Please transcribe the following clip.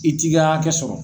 I t'i ka hakɛ sɔrɔ.